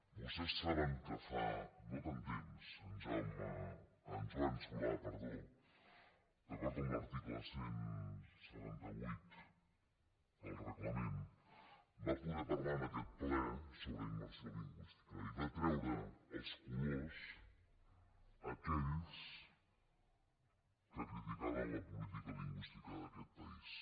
vostès saben que fa no tant temps en joan solà d’acord amb l’article cent i setanta vuit del reglament va poder parlar en aquest ple sobre immersió lingüística i va treure els colors a aquells que criticaven la política lingüística d’aquest país